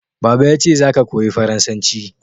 Baba yace "Za ka koyi Faransanci!"